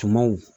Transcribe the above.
Tumaw